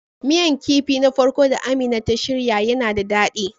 Miyan kipin na farko da Amina ta shirya yana da dadi.